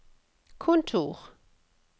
kontor